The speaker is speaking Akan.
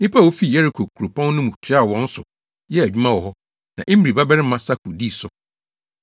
Nnipa a wofi Yeriko kuropɔn no mu toaa wɔn so yɛɛ adwuma wɔ hɔ, na Imri babarima Sakur dii so.